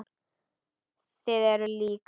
Þið eruð lík.